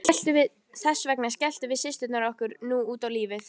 Þess vegna skelltum við systurnar okkur nú út á lífið.